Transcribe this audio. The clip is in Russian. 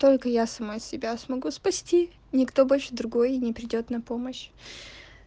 только я сама себя смогу спасти никто больше другой не придёт на помощь